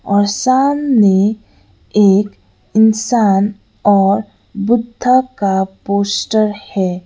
और सामने एक इंसान और बुद्धा का पोस्टर है।